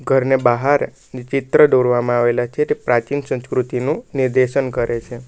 ઘરને બહાર ને ચિત્ર દોરવામાં આવેલા છે તે પ્રાચીન સંસ્કૃતિનું નિર્દેશન કરે છે.